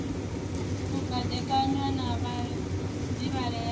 u dibadekanya na vhadivhalea i